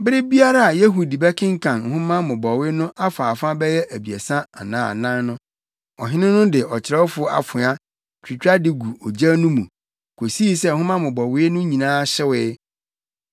Bere biara a Yehudi bɛkenkan nhoma mmobɔwee no afaafa bɛyɛ abiɛsa anaa anan no, ɔhene no de ɔkyerɛwfo afoa, twitwa de gu ogya no mu, kosii sɛ nhoma mmobɔwee no nyinaa hyewee.